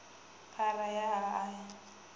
phara ya a a i